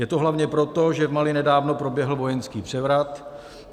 Je to hlavně proto, že v Mali nedávno proběhl vojenský převrat.